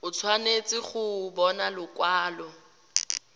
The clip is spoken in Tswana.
o tshwanetse go bona lekwalo